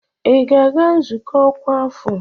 Ị ga-aga nzukọ ọkwa afọ?